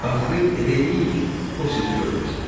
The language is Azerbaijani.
Axırı elə eləyin ki, o sizi görməsin.